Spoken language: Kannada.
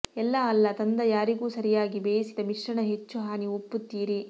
ಎಲ್ಲಾ ಅಲ್ಲ ತಂದ ಯಾರಿಗೂ ಸರಿಯಾಗಿ ಬೇಯಿಸಿದ ಮಿಶ್ರಣ ಹೆಚ್ಚು ಹಾನಿ ಒಪ್ಪುತ್ತೀರಿ